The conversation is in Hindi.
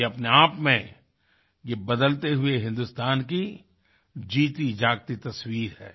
ये अपने आप में ये बदलते हुए हिन्दुस्तान की जीतीजागती तस्वीर है